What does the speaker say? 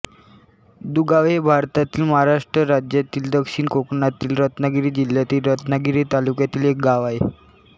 दुगावे हे भारतातील महाराष्ट्र राज्यातील दक्षिण कोकणातील रत्नागिरी जिल्ह्यातील रत्नागिरी तालुक्यातील एक गाव आहे